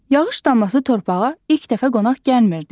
Yağış damlası torpağa ilk dəfə qonaq gəlmirdi.